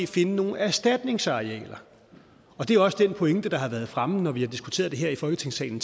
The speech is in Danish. finde nogle erstatningsarealer det er også den pointe der har været fremme når vi tidligere har diskuteret det her i folketingssalen